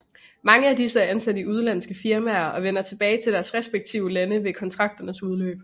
Mange af disse er ansat i udenlandske firmaer og vender tilbage til deres respektive lande ved kontrakternes udløb